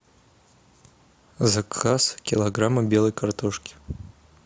заказ килограмма белой картошки